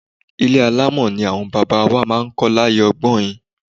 Ilé alámọ̀ ni àwọn baba wa máa ń kọ́ láyé ọgbọ́in.